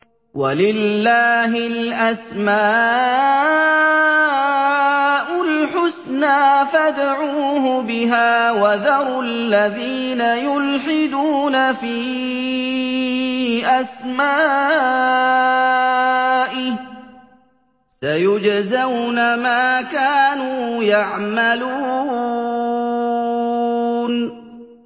وَلِلَّهِ الْأَسْمَاءُ الْحُسْنَىٰ فَادْعُوهُ بِهَا ۖ وَذَرُوا الَّذِينَ يُلْحِدُونَ فِي أَسْمَائِهِ ۚ سَيُجْزَوْنَ مَا كَانُوا يَعْمَلُونَ